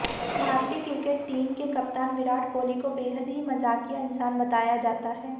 भारतीय cricket team के कप्तान विराट कोहली को बेहद ही मजाकिया इंसान बताया जाता है